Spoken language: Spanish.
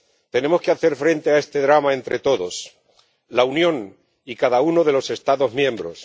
Tenemos que hacer frente a este drama entre todos la Unión y cada uno de los Estados miembros.